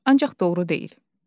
Ancaq doğru deyil.